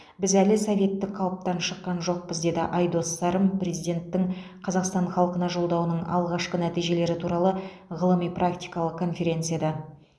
біз әлі советтік қалыптан шыққан жоқпыз деді айдос сарым президенттің қазақстан халқына жолдауының алғашқы нәтижелері туралы ғылыми практикалық конференцияда